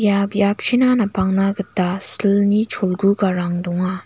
ia biapchina napangna gita silni cholgugarang donga.